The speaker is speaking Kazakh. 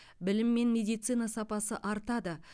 білім мен медицина сапасы артады